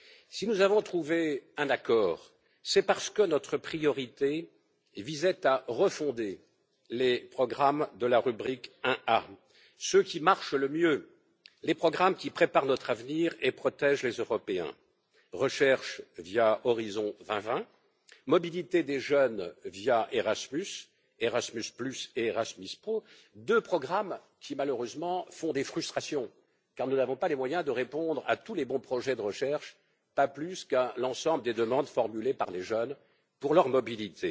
Si nous avons trouvé un accord, c'est parce que notre priorité visait à refonder les programmes de la rubrique 1a, ceux qui marchent le mieux, les programmes qui préparent notre avenir et protègent les Européens recherche via Horizon 2020, mobilité des jeunes via Erasmus, Erasmus et Erasmus Pro deux programmes qui, malheureusement, font des frustrations, car nous n'avons pas les moyens de répondre à tous les bons projets de recherche, pas plus qu'à l'ensemble des demandes formulées par les jeunes pour leur mobilité